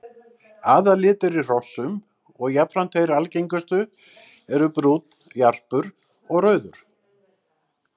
Aðallitir í hrossum og jafnframt þeir algengustu eru brúnn, jarpur og rauður.